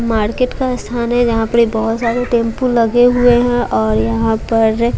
market का स्थान है जहां पर बहुत टेंपो लगे हुए हैं और यहां पर--